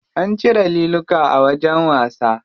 An cire liluka a wajen wasa.